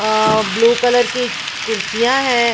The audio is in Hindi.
अ ब्लू कलर की कुर्सियां हैं।